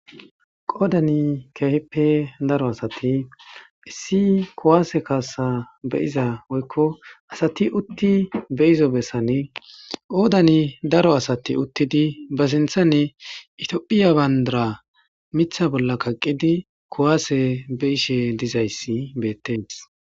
Hayssa misileza bolla tayi be'ishin taasi beetizayi woykko xeelishin aaze gizayssa giddikko daro asati be sinththan bandira woththidi dizayssi qoncce gididi beteesi.